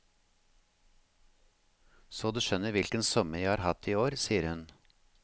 Så du skjønner hvilken sommer jeg har hatt i år, sier hun.